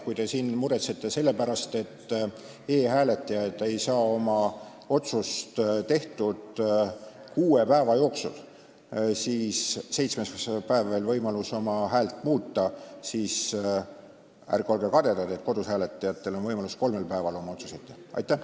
Kui te siin muretsete selle pärast, et e-hääletajad ei saa oma otsust tehtud kuue päeva jooksul, seitsmendal päeval on veel võimalus oma häält muuta, siis ärge olge kadedad, kui kodus hääletajatel on võimalus kolmel päeval oma otsust teha.